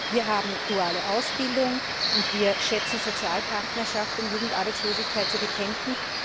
Wir haben duale Ausbildung, und wir schätzen Sozialpartnerschaft, um Jugendarbeitslosigkeit zu bekämpfen.